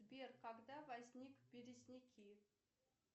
сбер когда возник березняки